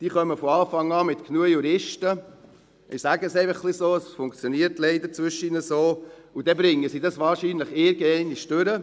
Diese kommen von Anfang an mit genug Juristen – ich sage es einfach so, weil es leider zwischendurch ein bisschen so funktioniert – und bringen es wahrscheinlich irgendwann durch.